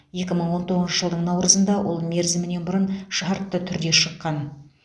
екі мың он тоғызыншы жылдың наурызында ол мерзімінен бұрын шартты түрде шыққан